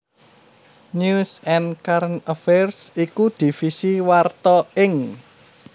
News and Current Affairs iku divisi warta ing